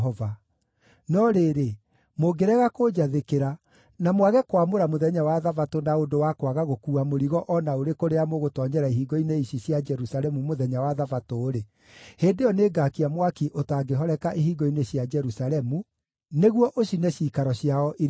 No rĩrĩ, mũngĩrega kũnjathĩkĩra, na mwage kwamũra mũthenya wa Thabatũ na ũndũ wa kwaga gũkuua mũrigo o na ũrĩkũ rĩrĩa mũgũtoonyera ihingo-inĩ ici cia Jerusalemu mũthenya wa Thabatũ-rĩ, hĩndĩ ĩyo nĩngaakia mwaki ũtangĩhoreka ihingo-inĩ cia Jerusalemu nĩguo ũcine ciikaro ciao iria njirigĩre.’ ”